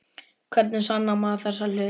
Hvernig sannar maður þessa hluti?